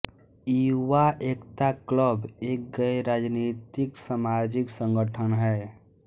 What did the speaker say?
युवा एकता क्लब एक गैरराजनीतिक सामाजिक संगठन है